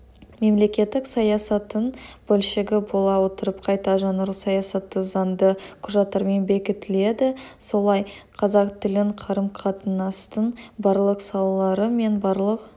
мемлекеттік саясаттың бөлшегі бола отырып қайта жаңару саясаты заңды құжаттармен бекітіледі солай қазақ тілінің қарым-қатынастың барлық салалары мен барлық